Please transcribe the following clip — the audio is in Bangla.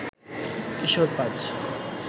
কিশোর পাজ